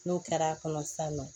N'o kɛra kɔnɔ sisan nɔ